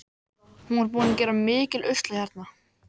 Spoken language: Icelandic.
Hann var búinn að gera mikinn usla hérna.